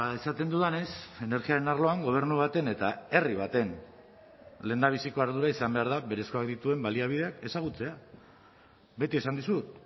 esaten dudanez energiaren arloan gobernu baten eta herri baten lehendabiziko ardura izan behar da berezkoak dituen baliabideak ezagutzea beti esan dizut